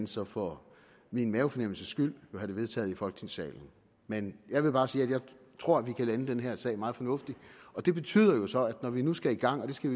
så for min mavefornemmelses skyld jo have det vedtaget i folketingssalen men jeg vil bare sige at jeg tror vi kan lande den her sag meget fornuftigt det betyder jo så at når vi nu skal i gang og vi skal